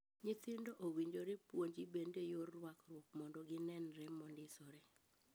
Nyithindo owinjore puonji bende yor ruakruok mondo ginenre mondisore.